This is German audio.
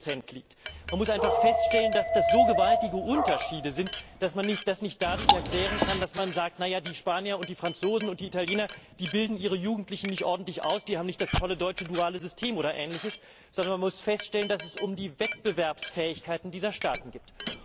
40 Man muss einfach feststellen, dass das so gewaltige Unterschiede sind, dass man das nicht dadurch erklären kann, dass man sagt Na ja, die Spanier und die Franzosen und die Italiener, die bilden ihre Jugendlichen nicht ordentlich aus, die haben nicht das tolle deutsche duale System, oder Ähnliches, sondern man muss feststellen, dass es um die Wettbewerbsfähigkeiten dieser Staaten geht.